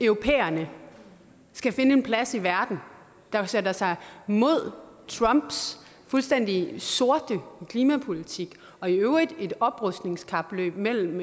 europæerne skal finde en plads i verden der sætter sig mod trumps fuldstændig sorte klimapolitik og i øvrigt et oprustningskapløb mellem